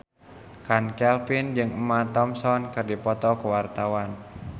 Chand Kelvin jeung Emma Thompson keur dipoto ku wartawan